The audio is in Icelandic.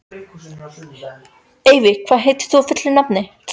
Evey, hvað heitir þú fullu nafni?